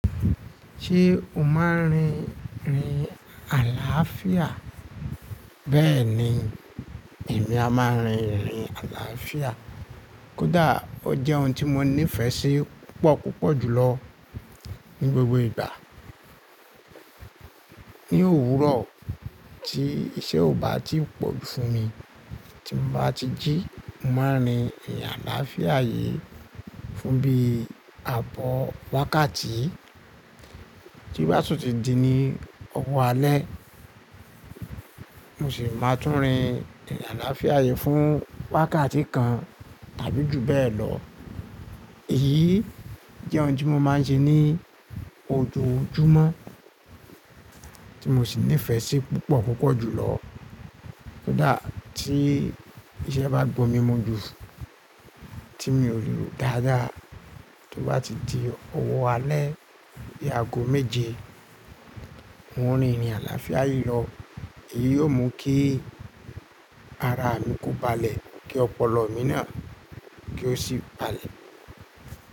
Ṣé o máa ń rin ìrìn àlàáfíà? Bẹ́ẹ̀ni, èmi a máa ń rin ìrìn àlàáfíà. Kódà ó jẹ́ ohun tí mo nífẹ̀ẹ́ sí púpọ̀ púpọ̀ jùlọ ní gbogbo ìgbà. Ni òwúrọ̀ tí iṣẹ́ ò bá tí pọ̀ fún mi, tí mo bá ti jí, màá rin ìrìn àlàáfíà yìí fún bí i àbọ̀ wákàtí. Tí bá sì ti di ni ọwọ́ alẹ́, mo sì máa tún rin ìrìn àlàáfíà yìí fún wákàtí kan tàbí jù bẹ́ẹ̀ lọ. Èyí jẹ́ ohun tí mo máa ń ṣe ní ojoojúmọ́ tí mo sì nífẹ̀ẹ́ sí púpọ̀ púpọ̀ jùlọ. Kódà tí iṣẹ́ bá gbó mi mú ju, tí mi ò lè lòó dáadáa, tí ó bá ti di ọwọ́ alẹ́ di aago méje, n ó rin ìrìn àlàáfíà yìí lọ. Èyí ó mú kí ara mi kó balẹ̀, kí ọpọlọ mi náà kí ó sì balẹ̀.